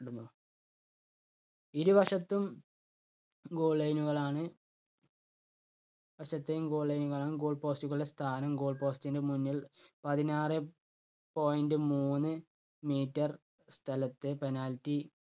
ഇരുവശത്തും goal line കളാണ്. ഇരു വശത്തെയും goal line കളാണ് goal post കളുടെ സ്ഥാനം goal post ന്റെ മുന്നിൽ പതിനാറെ point മൂന്ന് meter സ്ഥലത്തെ penalty